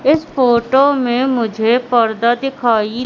इस फोटो में मुझे पर्दा दिखाई--